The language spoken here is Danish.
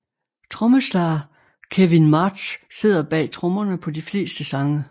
Trommeslager Kevin March sidder bag trommerne på de fleste sange